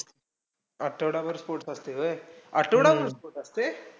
आठवडाभर sports असतंय व्हयं. आठवडाभर sports असतंय?